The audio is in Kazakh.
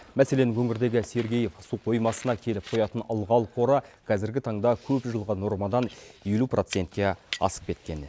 мәселен өңірдегі сергеев су қоймасына келіп құятын ылғал қоры қазіргі таңда көпжылғы нормадан елу процентке асып кеткен